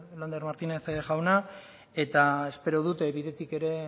lander martínez jauna eta espero dut bidetik ere